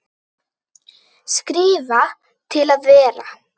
Skrifa til að vera?